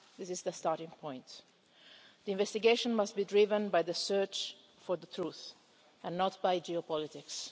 This is the starting point. The investigation must be driven by the search for the truth, and not by geopolitics.